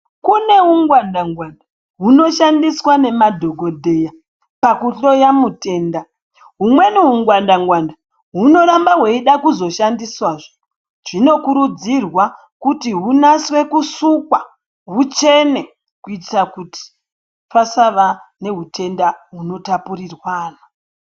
Kune ungwanda ngwanda hunoshandiswa nemadhokodheya pakuhloya mutenda humweni hungwanda ngwanda hunoramba hweida kuzoshandiswazve zvinokurudzirwa kuti hunaswe kusukwa huchene kuitira kuti pasava nehutenda hunotapurirwana.